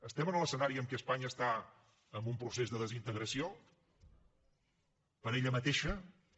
estem en l’escenari en què espanya està en un procés de desintegració per ella mateixa no